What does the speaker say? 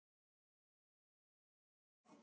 Hilmar og Katla.